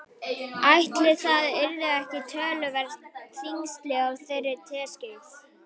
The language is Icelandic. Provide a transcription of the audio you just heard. Ætli það yrðu ekki töluverð þyngsli á þeirri teskeið.